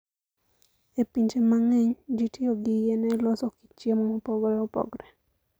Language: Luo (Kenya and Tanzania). E pinje mang'eny, ji tiyo gi yien e loso kit chiemo mopogore opogore.